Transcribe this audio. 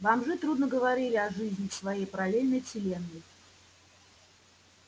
бомжи трудно говорили о жизни в своей параллельной вселенной